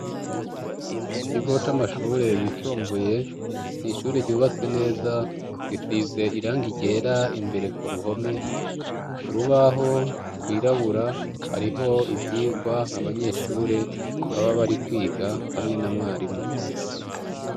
Mu kigo amashure yisumbuye, ishure ryubatse neza, risize irangi ryera imbere ku ruhome, ku rubaho rwirabura, hariho ivyigwa abanyeshure baba bari kwiga hamwe na mwarimu.